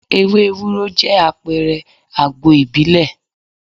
Ewé Ewúro jẹ́ àpẹrẹ àgbo ìbílẹ̀.